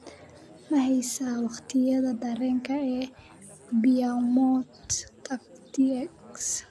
ma haysaa waqtiyada tareenka ee beaumont tx